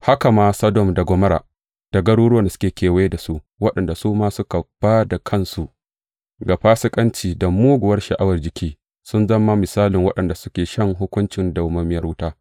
Haka ma Sodom da Gomorra da garuruwan da suke kewaye da su, waɗanda su ma suka ba da kansu ga fasikanci da muguwar sha’awar jiki, sun zama misalin waɗanda suke shan hukuncin madawwamiyar wuta.